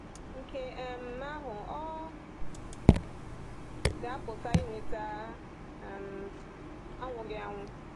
Nke um ahụ ọ̀ ọ̀ ga-apụta inweta um anwụghị anwụ.